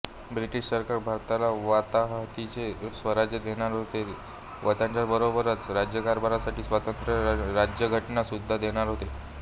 British सरकार भारताला वताहतीचे स्वराज्य देणार होते व त्याच्याबरोबरच राज्यकारभारासाठी स्वतंत्र राज्यघटना सुद्धा देणार होते